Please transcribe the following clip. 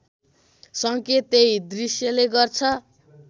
सङ्केत त्यही दृश्यले गर्छ